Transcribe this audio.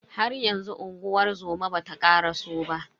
Haryanzu unguwar zoma bata karaso ba.